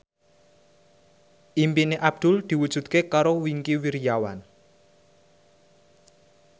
impine Abdul diwujudke karo Wingky Wiryawan